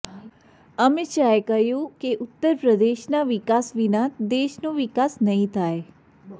અમિત શાહે કહ્યું કે ઉત્તર પ્રદેશના વિકાસ વિના દેશનો વિકાસ નહીં થાય